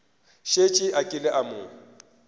šetše a kile a mo